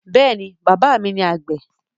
Yes, my father is farmer